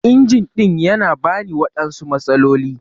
Injin ɗin yana bani waɗansu matsaloli.